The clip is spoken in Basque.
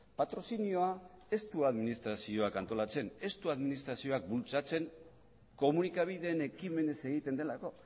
patrozinioa ez du administrazioak antolatzen ez du administrazioak bultzatzen komunikabideen ekimenez egiten delako